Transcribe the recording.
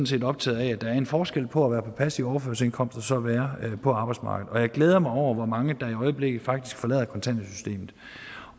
set optaget af at der er en forskel på at være på passiv overførselsindkomst og så være på arbejdsmarkedet og jeg glæder mig over hvor mange der i øjeblikket faktisk forlader kontanthjælpssystemet